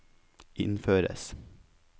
innføres